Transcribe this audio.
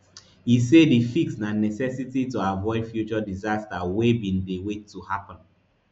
e say di fix na necessity to avoid future disaster wey bin dey wait to happun